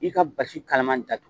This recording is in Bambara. I ka basi kalaman datugu